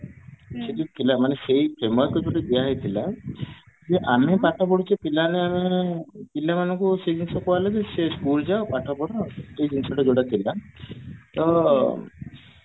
ସେଇ ଯୋଉ ପିଲାମାନେ ମାନେ ସେଇ framework ଉପରେ ଦିଆ ହେଇଥିଲା ଯେ ଆମେ ପାଠ ପଢୁଛେ ପିଲାମାନେ ଆମର ପିଲାମାନଙ୍କୁ ସେ ଜିନିଷ କହିଲେ ବି ସେ school ଯାଅ ପାଠ ପଢ ଏଇ ଜିନିଷ ଟା ଯୋଉଟା ଥିଲା ତ